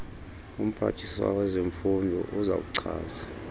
umphathiswa wezemfundo uzakuchaza